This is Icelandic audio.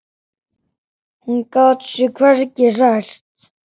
Hún gat sig hvergi hrært.